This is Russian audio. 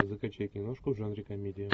закачай киношку в жанре комедия